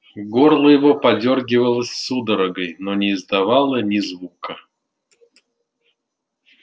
горло его подёргивалось судорогой но не издавало ни звука